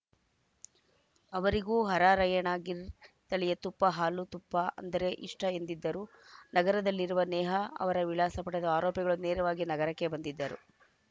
ಅವರಿಗೂ ಹರಾರ‍ಯಣ ಗಿರ್‌ ತಳಿಯ ತುಪ್ಪ ಹಾಲು ತುಪ್ಪ ಎಂದರೆ ಇಷ್ಟಎಂದಿದ್ದರು ನಗರದಲ್ಲಿರುವ ನೇಹಾ ಅವರ ವಿಳಾಸ ಪಡೆದು ಆರೋಪಿಗಳು ನೇರವಾಗಿ ನಗರಕ್ಕೆ ಬಂದಿದ್ದರು